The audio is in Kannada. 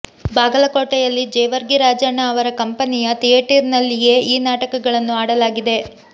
ಬಾಗಲಕೋಟೆಯಲ್ಲಿ ಜೇವರ್ಗಿ ರಾಜಣ್ಣ ಅವರ ಕಂಪನಿಯ ಥಿಯೇಟರಿನಲ್ಲಿಯೇ ಈ ನಾಟಕಗಳನ್ನು ಆಡಲಾಗಿದೆ